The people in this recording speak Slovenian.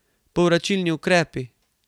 Povračilni ukrepi.